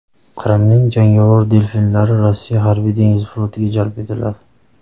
Qrimning jangovar delfinlari Rossiya Harbiy dengiz flotiga jalb etiladi.